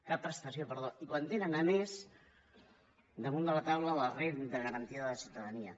cap prestació perdó i quan tenen a més damunt de la taula la renda garantida de ciutadania